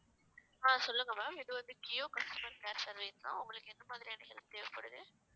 ஆஹ் சொல்லுங்க ma'am இது வந்து kio customer service தான் உங்களுக்கு எந்த மாதிரியான help தேவைப்படுது